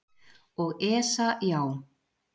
Og ESA já.